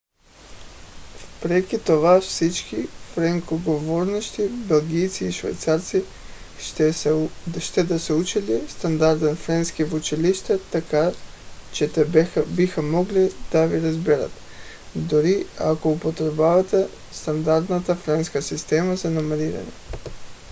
въпреки това всички френскоговорящи белгийци и швейцарци ще да са учили стандартен френски в училище така че те биха могли да ви разберат дори ако употребявахте стандартната френска система за номериране